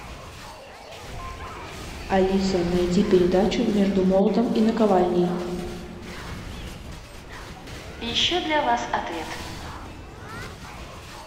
алиса найди передачу между молотом и наковальней